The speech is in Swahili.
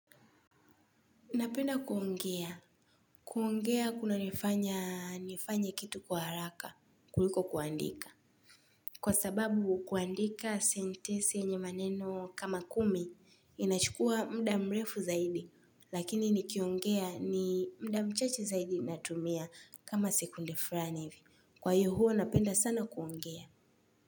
Napenda kuongea. Kuongea kuna nifanya nifanye kitu kwa haraka kuliko kuandika. Kwa sababu kuandika sentensi yenye maneno kama kumi inachukua muda mrefu zaidi, lakini nikiongea ni muda mchache zaidi natumia kama sekunde fulani hivi. Kwa hiyo huwa napenda sana kuongea.